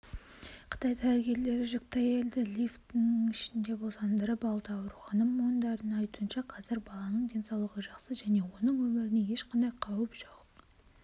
қытай дәрігерлері жүкті әйелді лифтінің ішінде босандырып алды аурухана мамандарының айтуынша қазір баланың денсаулығы жақсы және оның өміріне ешқандай қауіп жоқ